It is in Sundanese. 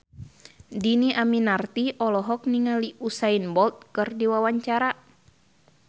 Dhini Aminarti olohok ningali Usain Bolt keur diwawancara